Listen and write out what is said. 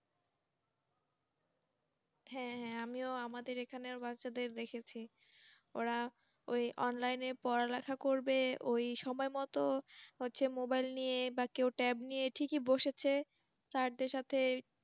হ্যাঁ, হ্যাঁ। আমিও আমাদের এখানে বাচ্ছাদের দেখেছি ওরা ঐ online এ পড়া লেখা করবে ঐ সময় মতো হচ্ছে মোবাইল নিইয়ে বা কেও tab নিয়ে ঠিকই বসেছে সাথে সাথে